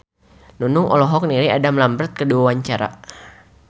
Nunung olohok ningali Adam Lambert keur diwawancara